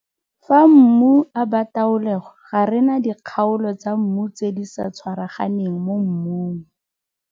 Fa mmu a bataolegwa ga re na dikgaolo tsa mmu tse di sa tshwaraganeng mo mmung.